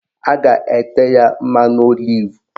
A ga-ete ya mmanụ olivu